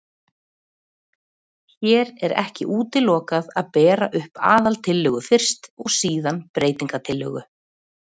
Hér er ekki útilokað að bera upp aðaltillögu fyrst og síðan breytingatillögu.